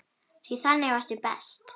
Því þannig varstu best.